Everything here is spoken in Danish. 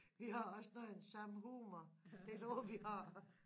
Vi har også noget af den samme humor det tror jeg vi har